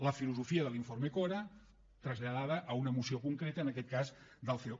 la filosofia de l’informe cora traslladada a una moció concreta en aquest cas del ceo